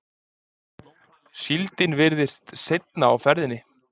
Síldin virðist seinna á ferðinni